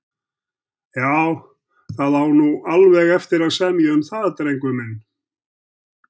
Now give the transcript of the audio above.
Já, það á alveg eftir að semja um það, drengur minn.